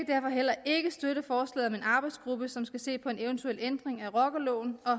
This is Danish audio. derfor heller ikke støtte forslaget om en arbejdsgruppe som skal se på en eventuel ændring af rockerloven og